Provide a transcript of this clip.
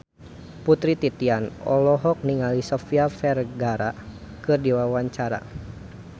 Putri Titian olohok ningali Sofia Vergara keur diwawancara